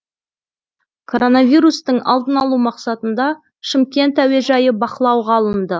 коронавирустың алдын алу мақсатында шымкент әуежайы бақылауға алынды